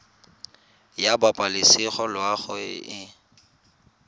ya pabalesego loago e e